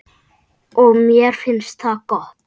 Og mér finnst það gott.